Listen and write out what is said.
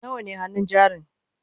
nawa ne hannun jarin?